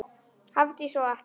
Hafdís og Atli.